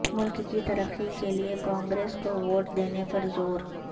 ملک کی ترقی کیلئے کانگریس کوووٹ دینے پر زور